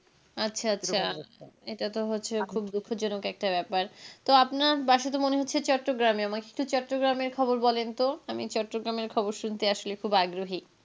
আচ্ছা আচ্ছা এটা তো হচ্ছে খুব দুঃখ জনক একটা ব্যাপার তো আপনার বাসা তো মনে হচ্ছে চট্টগ্রামে আমায় চট্টগ্রামের খবরটা একটু বলেন তো. আমি চট্টগ্রামের খবর শুনতে আসলে খুব আগ্রহী।